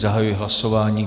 Zahajuji hlasování.